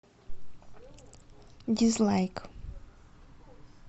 дизлайк